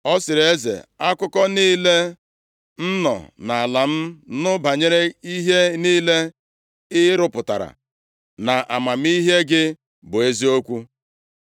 Ọ sịrị eze, “Akụkọ niile m nọ nʼala nụ banyere ihe niile ị rụpụtara na amamihe gị bụ eziokwu.